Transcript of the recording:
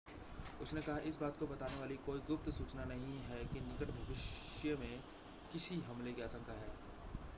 उसने कहा इस बात को बताने वाली कोई गुप्त सूचना नहीं है कि निकट भविष्य में किसी हमले की आशंका है